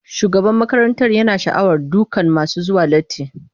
Shugaban makarantar yana sha'awar dukan masu zuwa latti.